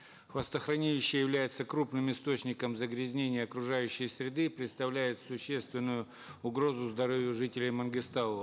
хвостохранилище является крупным источником загрязнения окружающей среды и представляет существенную угрозу здоровью жителей мангыстау